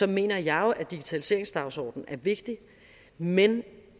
mener jeg jo at digitaliseringsdagsordenen er vigtig men